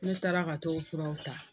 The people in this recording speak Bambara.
Ne taara ka t'o furaw ta.